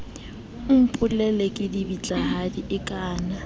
o mpolella kedibitlahadi e kaana